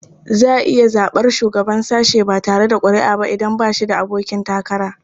Za a iya zaɓar shugaban sashe ba tare da ƙuri'a ba idan ba shi da abokin takara.